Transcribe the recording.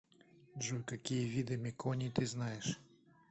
джой какие виды меконий ты знаешь